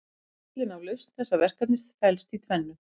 Lykillinn að lausn þessa verkefnis felst í tvennu.